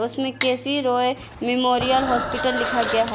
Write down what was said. उसमें K C Roy memorial hospital लिखा गया है।